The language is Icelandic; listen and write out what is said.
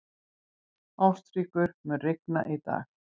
Ástríkur, mun rigna í dag?